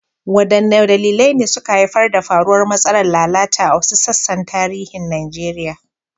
Wadanne dalilai ne suka haifar da faruwar matsalar lalata a wasu sassan tarihin Najeriya?